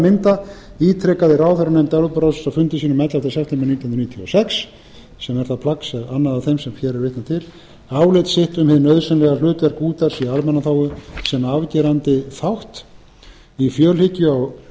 mynda ítrekaði ráðherranefnd evrópuráðsins á fundi sínum ellefta september nítján hundruð níutíu og sex sem er það plagg annað af þeim sem hér er vitnað til álit sitt um hið nauðsynlega hlutverk útvarps í almannaþágu sem